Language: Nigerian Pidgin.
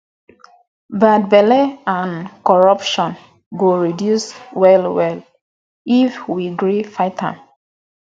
bad belle and corruption go reduce well well if we gree fight am